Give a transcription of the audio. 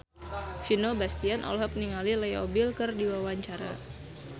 Vino Bastian olohok ningali Leo Bill keur diwawancara